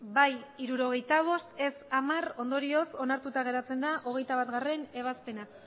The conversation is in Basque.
bai hirurogeita bost ez hamar ondorioz onartuta geratzen da hogeita batgarrena ebazpena